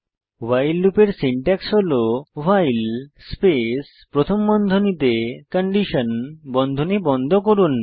ভাইল লুপের সিনট্যাক্স হল while space প্রথম বন্ধনীতে কন্ডিশন বন্ধনী বন্ধ করুন